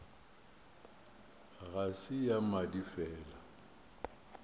ga se ya madi fela